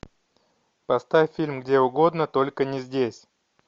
поставь фильм где угодно только не здесь